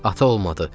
Ata olmadı.